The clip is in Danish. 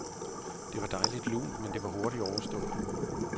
Det var dejligt lunt, men det var hurtigt overstået.